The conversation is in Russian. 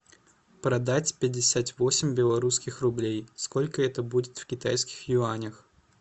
продать пятьдесят восемь белорусских рублей сколько это будет в китайских юанях